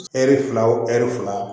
Ɛri fila o ɛri fila